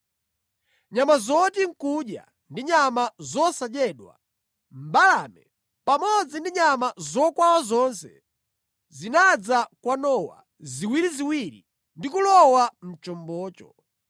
Nyama zoti nʼkudya ndi nyama zosadyedwa, mbalame, pamodzi ndi nyama zokwawa zonse zinadza kwa Nowa ziwiriziwiri ndi kulowa mʼchombomo.